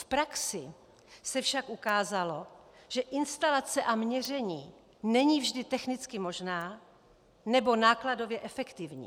V praxi se však ukázalo, že instalace a měření není vždy technicky možné nebo nákladově efektivní.